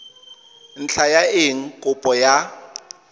ntlha ya eng kopo ya